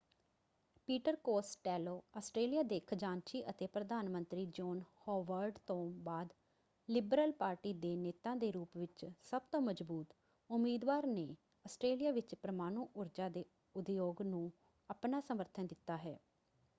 Peter Costello Australia ਦੇ ਖਜਾਨਚੀ ਅਤੇ ਪ੍ਰਧਾਨ ਮੰਤਰੀ ਜੋਨ ਹੋਵਰਡ ਤੋਂ ਬਾਅਦ ਲਿਬਰਲ ਪਾਰਟੀ ਦੇ ਨੇਤਾ ਦੇ ਰੂਪ ਵਿੱਚ ਸਭ ਤੋਂ ਮਜਬੂਤ ਉਮੀਦਵਾਰ ਨੇ ਆਸਟ੍ਰੇਲੀਆ ਵਿੱਚ ਪਰਮਾਣੂ ਊਰਜਾ ਦੇ ਉਦਯੋਗ ਨੂੰ ਆਪਣਾ ਸਮਰਥਨ ਦਿੱਤਾ ਹੈ।